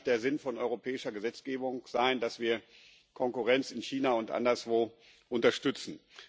Das kann nicht der Sinn von europäischer Gesetzgebung sein, dass wir Konkurrenz in China und anderswo unterstützen.